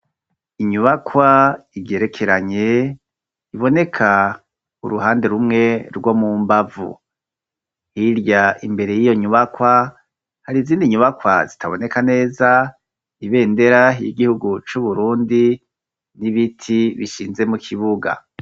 Inyubakwa igerekeranye iboneka uruhande rumwe rwo mu mbavu. Hirya imbere y'iyo nyubakwa hari izindi nyubakwa zitaboneka neza ibendera y'igihugu c'Uburundi n'ibiti bishinze mu kibuga.